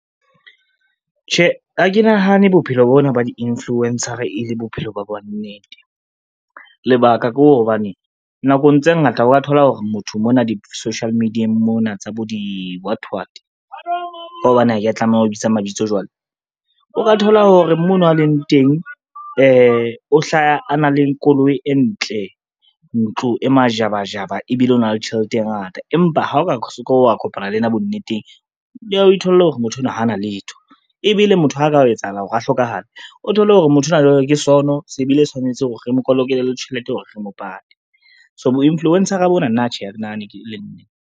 Tjhe, ha ke nahane bophelo bona ba di-influencer e le bophelo ba bonnnete. Lebaka ke hobane, nakong tse ngata o ka thola hore motho mona di-social media-eng mona tsa bo di-what what, ka hobane ha ke tlameha ho bitsa mabitso jwale. O ka thola hore mono a leng teng o hlaha a na le koloi e ntle, ntlo e majabajaba ebile o na le tjhelete e ngata, empa ha o ka se ke wa kopana le ena bonneteng, o itholle hore motho enwa hana letho ebile motho ha o ka etsahala hore a hlokahale, o thole hore motho ona jwale ke sono, se bile e tshwanetse hore re mokolokele le tjhelete hore re mo pat, so bo influencer-a bona nna tjhe ha ke nahane e le nnete.